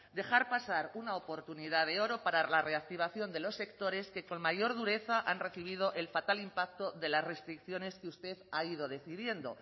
dejar pasar una oportunidad de oro para la reactivación de los sectores que con mayor dureza han recibido el fatal impacto de las restricciones que usted ha ido decidiendo